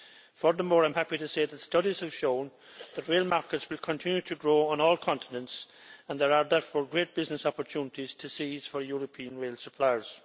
Furthermore, I am happy to say that studies have shown that rail markets will continue to grow on all continents, and there are therefore great business opportunities to seize for European rail suppliers.